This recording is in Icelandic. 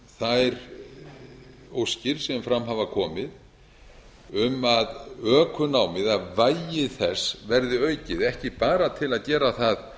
þær óskir sem fram hafa komið um að ökunám eða vægi þess verði aukið ekki bara til að gera það